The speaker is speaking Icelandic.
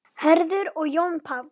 Hörður og Jón Páll.